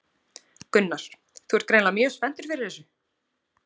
Gunnar: Þú ert greinilega mjög spenntur fyrir þessu?